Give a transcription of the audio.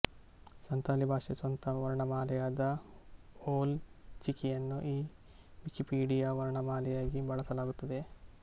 ಸಂತಾಲಿ ಭಾಷೆಯ ಸ್ವಂತ ವರ್ಣಮಾಲೆಯಾದ ಓಲ್ ಚಿಕಿಯನ್ನು ಈ ವಿಕಿಪೀಡಿಯ ವರ್ಣಮಾಲೆಯಾಗಿ ಬಳಸಲಾಗುತ್ತದೆ